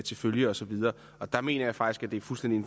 til følge og så videre der mener jeg faktisk at det er fuldstændig